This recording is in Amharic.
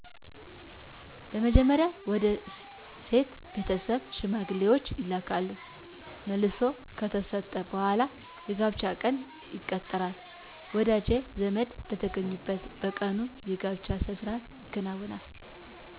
በመጀመርያ ወደ ሴት ቤተሠብ ሽማግሌዎች ይላካሉ መልሥ ከተሠጠ በሗላ የጋብቻ ቀን ይቀጠራል ወዳጅ ዘመድ በተገኙበት በቀኑ የጋብቻ ሥርአት ይከናወናል